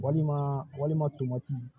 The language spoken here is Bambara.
Walima walima tomati